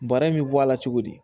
Bara in bɛ bɔ a la cogo di